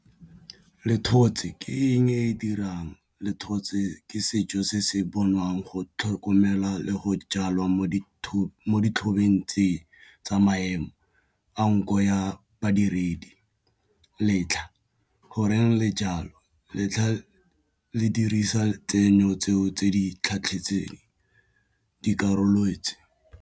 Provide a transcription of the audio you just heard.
Le dithotse ke eng e e dirang le dithotse ke setso se se bonwang go tlhokomela le go jalwa mo ditlhopheng tsa eng tsa maemo ao nko ya badiredi letlha goreng le jalo letlha le dirisa tseno tseo tse di tlhatlhetseng dikarolotsi.